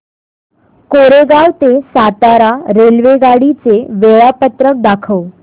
कोरेगाव ते सातारा रेल्वेगाडी चे वेळापत्रक दाखव